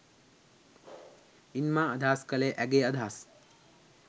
ඉන් මා අදහස් කලේ ඇගේ අදහස්